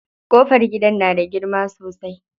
Ƙofar gidan na da girma sosai.